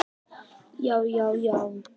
já já já!